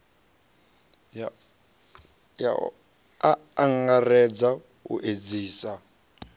a a angaredza u edzisea